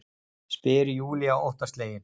spyr Júlía óttaslegin.